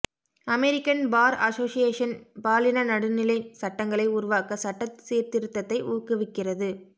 American Bar Association பாலின நடுநிலை சட்டங்களை உருவாக்க சட்ட சீர்திருத்தத்தை ஊக்குவிக்கிறது